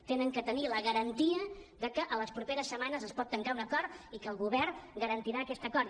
han de tenir la garantia que a les properes setmanes es pot tancar un acord i que el govern garantirà aquest acord